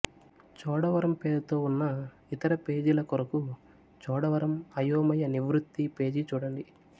చోడవరం పేరుతో ఉన్న ఇతర పేజీల కొరకు చోడవరం అయోమయ నివృత్తి పేజీ చూడండి